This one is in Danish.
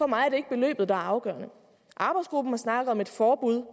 mig er det ikke beløbet der er afgørende arbejdsgruppen har snakket om et forbud